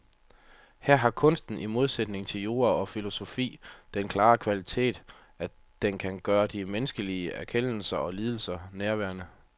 Her har kunsten i modsætning til jura og filosofi den klare kvalitet, at den kan gøre de menneskelige erkendelser og lidelser nærværende.